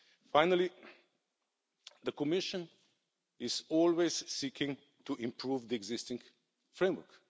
Finally, the Commission is always seeking to improve the existing framework.